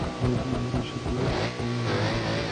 найди юрий шатунов вспомни май